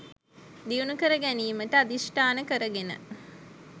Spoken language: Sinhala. දියුණු කර ගැනීමට අධිෂ්ඨාන කර ගෙන